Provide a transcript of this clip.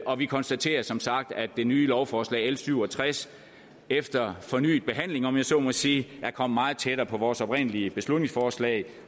og vi konstaterer som sagt at det nye lovforslag l syv og tres efter fornyet behandling om jeg så må sige er kommet meget tættere på vores oprindelige beslutningsforslag